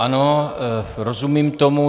Ano, rozumím tomu.